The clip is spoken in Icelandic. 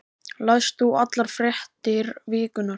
Lest þú allar fréttir vikunnar?